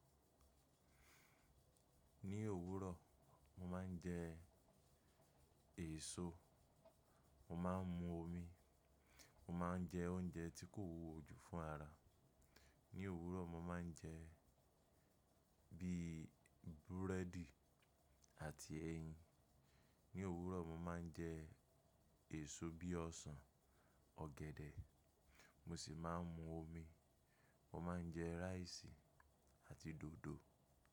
Ní òwúrọ̀, mo máa ń jẹ èso, mo máa ń mu omi, mo máa ń jẹ oúnjẹ tí kò wúwo jù fún ara. Ní òwúrọ̀ mo máa ń jẹ bíi búrẹ́dì àti ẹyin. Ní òwúrọ̀ mo máa ń jẹ èso bíi ọsàn, ọ̀gẹ̀dẹ̀, mo sì máa ń mu omi. Mo máa ń jẹ rice àti dòdò.